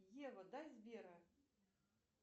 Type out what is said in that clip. ева дай сбера